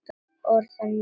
Orðanna vegna.